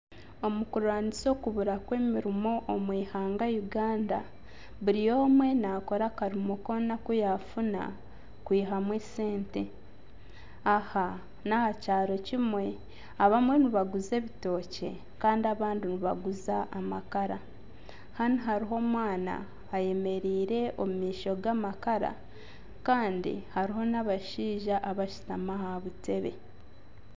Omu kurwanisa okubura kw'emirimo omu ihanga Uganda buri omwe naakora akarimo koona aku yaafuna kwihamu sente aha n'aha kyaro kimwe abamwe nibaguza ebitookye kandi abandi nibaguza amakara, hanu hariho omwana eyemereire omu maisho g'amakara kandi hariho n'abashaija abashutami aha butebe